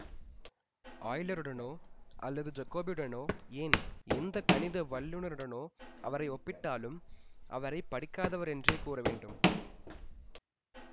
ஆய்லருடனோ அல்லது ஜாகோபியுடனோ ஏன் எந்த கணித வல்லுனருடனோ அவரை ஒப்பிட்டாலும் அவரை படிக்காதவர் என்றே கூறவேண்டும்